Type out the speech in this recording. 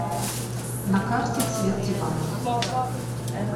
на карте цвет диванов